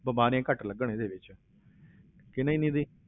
ਬਿਮਾਰੀਆਂ ਘੱਟ ਲੱਗਣ ਇਹਦੇ ਵਿੱਚ ਕਿ ਨਹੀਂ ਨਿੱਧੀ?